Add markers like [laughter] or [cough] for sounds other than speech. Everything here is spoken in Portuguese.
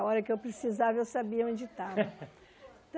A hora que eu precisava, eu sabia onde estava. [laughs]